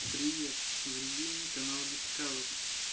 привет вруби мне канал дискавери